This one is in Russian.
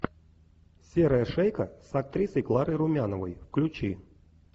серая шейка с актрисой кларой румяновой включи